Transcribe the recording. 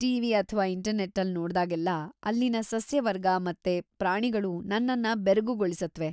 TV. ಅಥ್ವಾ ಇಂಟರ್ನೆಟ್ಟಲ್ಲಿ ನೋಡ್ದಾಗೆಲ್ಲ ಅಲ್ಲಿನ ಸಸ್ಯವರ್ಗ ಮತ್ತು ಪ್ರಾಣಿಗಳು ನನ್ನನ್ನ ಬೆರಗುಗೊಳಿಸತ್ವೆ.